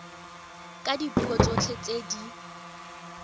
ka dipuo tsotlhe tse di